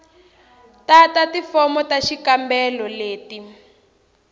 tata tifomo ta xikombelo leti